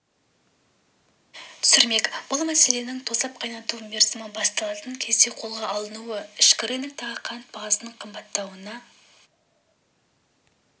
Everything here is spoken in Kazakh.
түсірмек бұл мәселенің тосап қайнату мерзімі басталатын кезде қолға алынуы ішкі рыноктағы қант бағасының қымбаттауына